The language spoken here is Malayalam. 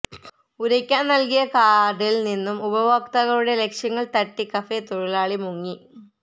ഉരയ്ക്കാന് നല്കിയ കാര്ഡില് നിന്നും ഉപഭോക്താക്കളുടെ ലക്ഷങ്ങള് തട്ടി കഫേ തൊഴിലാളി മുങ്ങി